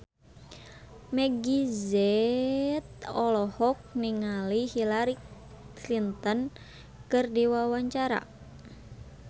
Meggie Z olohok ningali Hillary Clinton keur diwawancara